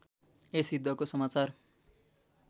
यस युद्धको समाचार